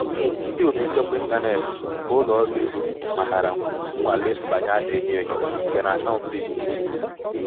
ndị otu nchekwa intaneti nke ụlọ ọrụ ego matara nnwale mbanye a na-enyo enyo nke n'akauntu ikuku m.